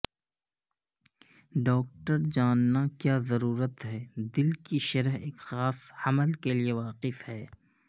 doctor جاننا کیا ضرورت ہے دل کی شرح ایک خاص حمل کے لئے واقف ہے